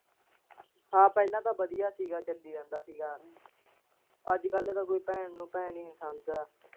ਹਾਂ ਪਹਿਲਾਂ ਤਾਂ ਵਧੀਆ ਸੀਗਾ ਚੱਲੀ ਜਾਂਦਾ ਸੀਗਾ ਅੱਜ ਕੱਲ ਤਾਂ ਕੋਈ ਭੈਣ ਨੂੁੰ ਭੈਣ ਹੀ ਨੀ ਸਮਝਦਾ।